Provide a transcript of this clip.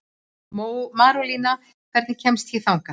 Marólína, hvernig kemst ég þangað?